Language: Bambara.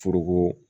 Foroko